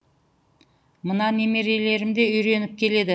мына немерелерім де үйреніп келеді